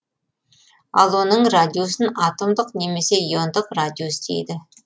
ал оның радиусын атомдық немесе иондық радиус дейді